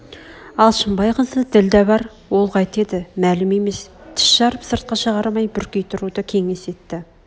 алшынбай қызы ділдә бар ол қайтеді мәлім емес тіс жарып сыртқа шығармай бүркей тұруды кеңес етті